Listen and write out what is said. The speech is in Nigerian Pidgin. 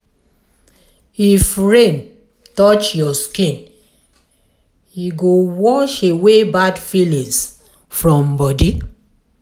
if rain touch your skin e go wash away bad feelings from body.